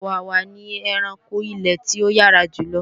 Ọ̀wàwà ni ẹranko ilè tí ó yára jùlo